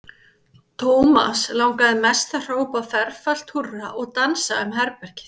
Thomas langaði mest til að hrópa ferfalt húrra og dansa um herbergið.